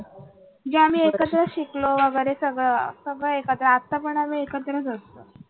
म्हणजे आम्ही एकत्र शिकलो वगैरे सगळ सगळ एकत्रच आता पण आम्ही एकत्रच असतो.